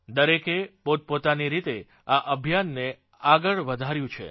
દરેકે પોતપોતાની રીતે આ અભિયાનને આગળ વધાળ્યું છે